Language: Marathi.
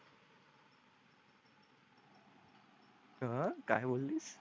आह काय बोललीस